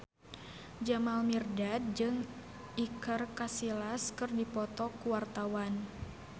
Jamal Mirdad jeung Iker Casillas keur dipoto ku wartawan